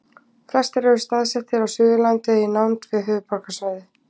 flestir eru staðsettir á suðurlandi eða í nánd við höfuðborgarsvæðið